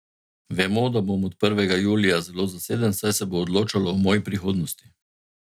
Vemo, da bom od prvega julija zelo zaseden, saj se bo odločalo o moji prihodnosti.